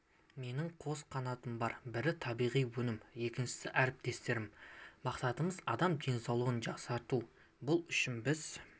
менің қос қанатым бар бірі табиғи өнімім екіншісі әріптестерім мақсатымыз адам денсаулығын жақсарту бұл үшін біз